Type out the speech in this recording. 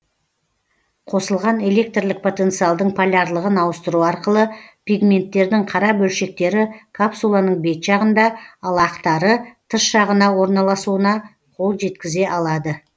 қосылған электрлік потенциалдың полярлығын ауыстыру арқылы пигменттердің қара бөлшектері капсуланың бет жағында ал ақтары тыс жағына орналасуына қол жеткізе алады